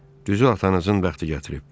Düzü atanızın bəxti gətirib.